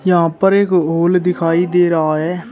यहां पर एक हॉल दिखाई दे रहा है।